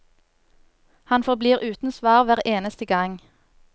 Han forblir uten svar hver eneste gang.